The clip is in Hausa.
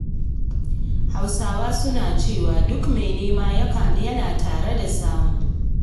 Hausawa suna cewa duk mai nema yana tare da samu.